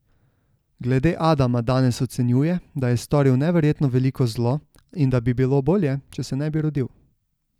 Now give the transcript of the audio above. Glede Adama danes ocenjuje, da je storil neverjetno veliko zlo in da bi bilo bolje, če se ne bi rodil.